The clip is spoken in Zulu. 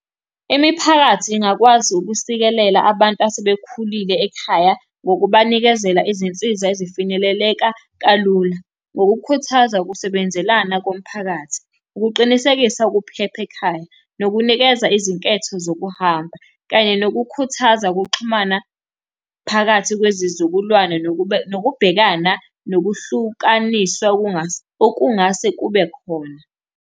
Imiphakathi ingakwazi ukusikelela abantu asebekhulile ekhaya ngokubanikezela izinsiza ezifinyeleleka kalula. Ngokukhuthaza ukusebenzelana komphakathi, ukuqinisekisa ukuphepha ekhaya, nokunikeza izinketho zokuhamba, kanye nokukhuthaza ukuxhumana phakathi kwezizukulwane nokuba nokubhekana nokuhlukanisa okungase kube khona.